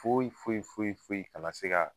Foyi foyi foyi foyi kana se ka